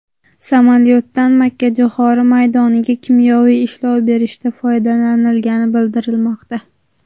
Samolyotdan makkajo‘xori maydoniga kimyoviy ishlov berishda foydalanilgani bildirilmoqda.